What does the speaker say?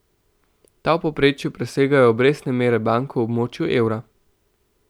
Ta v povprečju presegajo obrestne mere bank v območju evra.